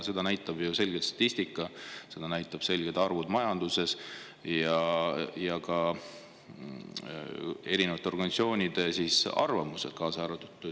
Seda näitab statistika selgelt, seda näitavad selgelt arvud majanduse kohta ja ka erinevate organisatsioonide arvamused.